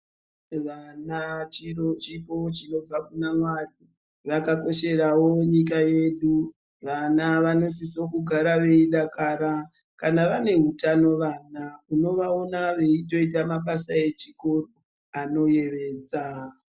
Vana chipo chinobva kuna mwari vakakosheravo nyika yedu. Vana vanosiso kugara veidakara kana vane hutano vana unovaona veitoita mabasa echikoro anoyevedza.